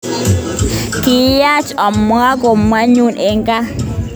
Kiyach amween kamet nyun eng gaa.